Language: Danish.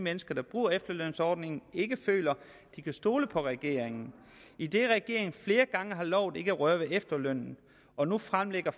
mennesker der bruger efterlønsordningen ikke føler de kan stole på regeringen idet regeringen flere gange har lovet ikke at røre ved efterlønnen og nu fremlægger